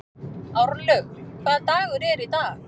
Árlaug, hvaða dagur er í dag?